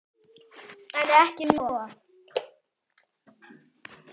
En ekki um of.